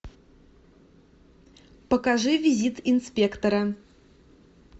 покажи визит инспектора